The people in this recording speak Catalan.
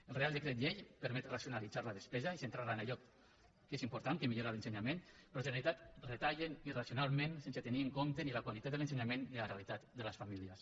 el reial decret llei permet racionalitzar la despesa i centrar la en allò que és important que millora l’ensenyament però la generalitat retalla irracionalment sense tenir en compte ni la qualitat de l’ensenyament ni la realitat de les famílies